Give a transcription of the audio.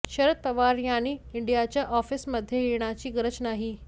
शरद पवार यांनी ईडीच्या ऑफिसमध्ये येण्याची गरज नाही